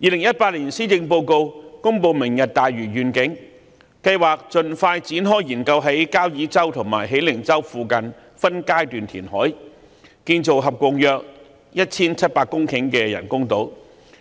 2018年施政報告公布"明日大嶼願景"，計劃盡快展開研究在交椅洲和喜靈洲附近分階段填海，建造合共約 1,700 公頃的人工島，